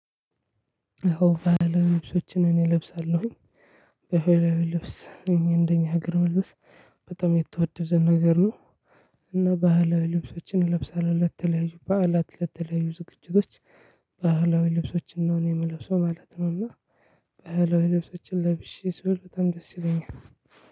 ባህላዊ ልብሶችን እኔ እለብሳለሁኝ። ባህላዊ ልብስ እንደኛ ሀገር መልበስ በጣም የተወደደ ነገር ነው። እና ባህል ልብሶችን እለብሳለው ለተለያዩ በዓላት ለተለያዩ ዝግጅቶች። ልብሶችን ነው እኔ ምለብሰው ማለት ነው። እና ባህላዊ ልብሶችን ለብሼ ስውል በጣም ደስ ይለኛል።